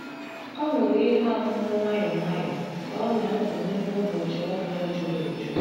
Ọ ṅụrụ ihe ọṅụṅụ nwayọ nwayọ ka ọ na-ebanye n’ụbọchị ọrụ ya juru eju.